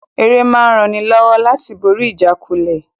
Ère máa ń ran ni lọ́wọ́ láti borí ìjákulẹ̀